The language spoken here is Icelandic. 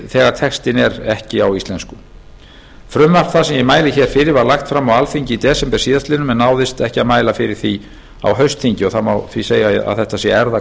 þegar textinn er ekki á íslensku frumvarp það sem ég mæli hér fyrir var lagt fram á alþingi í desember síðastliðnum en ekki náðist að mæla fyrir því á